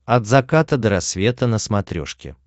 от заката до рассвета на смотрешке